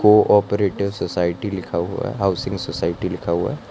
Cooperator society लिखा हुआ है हाउसिंग सोसायटी लिखा हुआ है।